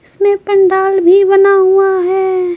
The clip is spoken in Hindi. इसमें पंडाल भी बना हुआ है।